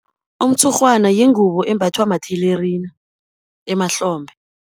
Umtshurhwana yingubo embathwa mathelerina emahlombe.